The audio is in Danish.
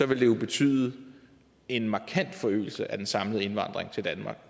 ville det jo betyde en markant forøgelse af den samlede indvandring til danmark